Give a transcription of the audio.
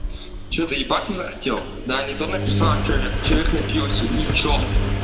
что-то ебаться захотел да не то написала что человек напился и что